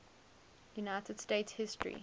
united states history